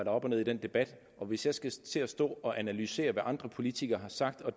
er op og ned i den debat hvis jeg skal til at stå og analysere hvad andre politikere har sagt og